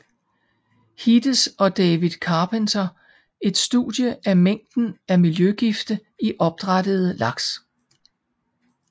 Hites og David Carpenter et studie af mængden af miljøgifte i opdrættede laks